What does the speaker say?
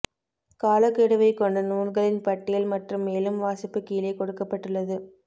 காலக்கெடுவைக் கொண்ட நூல்களின் பட்டியல் மற்றும் மேலும் வாசிப்பு கீழே கொடுக்கப்பட்டுள்ளது